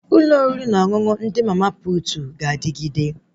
Ụlọ oriri na ọṅụṅụ ndị mama putu ga-adịgide